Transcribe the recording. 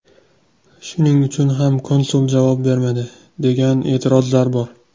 Shuning uchun ham konsul javob bermadi, degan e’tirozlar bor.